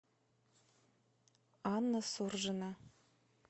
анна суржина